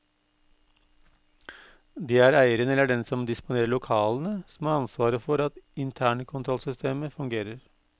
Det er eieren eller den som disponerer lokalene som har ansvaret for at internkontrollsystemet fungerer.